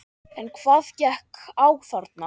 En hvað gekk á þarna?